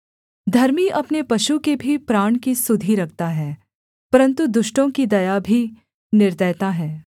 धर्मी अपने पशु के भी प्राण की सुधि रखता है परन्तु दुष्टों की दया भी निर्दयता है